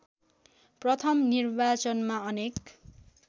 प्रथम निर्वाचनमा अनेक